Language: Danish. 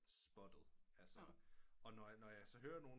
Spottet altså og når jeg så hører nogen